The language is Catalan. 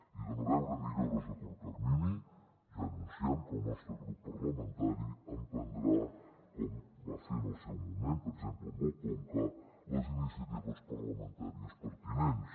i de no veure millores a curt termini ja anunciem que el nostre grup parlamentari emprendrà com va fer en el seu moment per exemple amb el conca les iniciatives parlamentàries pertinents